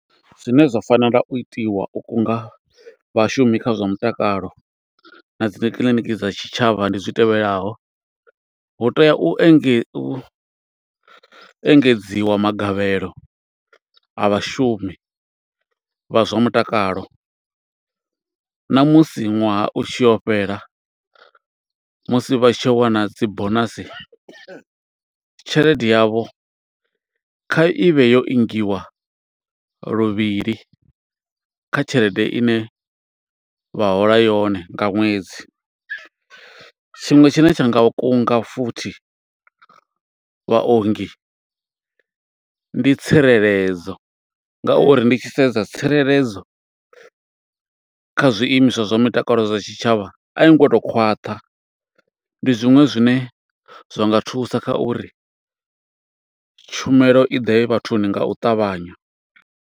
Zwine zwa fanela u itiwa u kunga vhashumi kha zwa mutakalo, na dzi kiḽiniki dza tshitshavha ndi zwi tevhelaho, hu tea u enge, u engedziwa magavhelo a vhashumi, vha zwa mutakalo na musi ṅwaha u yo tshifhela, musi vha tshi yo wana dzi bonasi, tshelede yavho kha i vhe yo ingiwa luvhili kha tshelede ine vha hola yone nga ṅwedzi. Tshiṅwe tshine tsha nga kunga futhi vhaongi, ndi tsireledzo nga uri ndi tshi sedza tsireledzo, kha zwiimiswa zwa mutakalo zwa tshitshavha a i ngo to khwaṱha. Ndi zwiṅwe zwine zwa nga thusa kha uri tshumelo i ḓe vhathuni nga u ṱavhanya.